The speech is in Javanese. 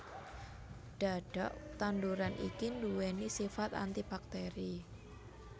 Dhadhak tanduran iki duwéni sifat antibakteri